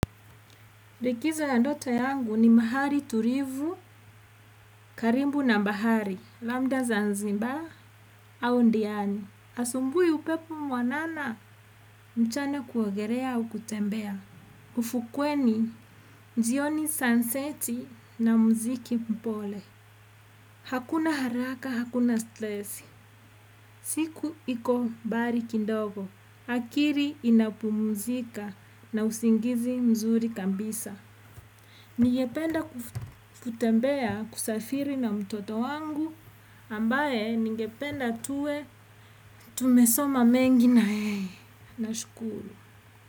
Likizo ya ndoto yangu ni mahali tulivu, karibu na bahari, labda zanzibar au ndiani. Asubuhi upepo mwanana, mchana kuogelea au kutembea. Ufukweni, jioni sunseti na mziki mpole. Hakuna haraka, hakuna stress. Siku iko mbali kindogo. Akili inapumuzika na usingizi mzuri kabisa. Ningependa kufukitembea kusafiri na mtoto wangu ambaye ningependa tuwe tumesoma mengi na yeye nashukuru.